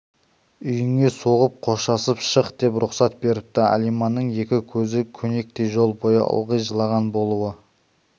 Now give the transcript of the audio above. үйіңе соғып қоштасып шық деп рұқсат беріпті алиманның екі көзі көнектей жол бойы ылғи жылаған болуы